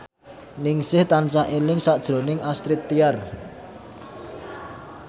Ningsih tansah eling sakjroning Astrid Tiar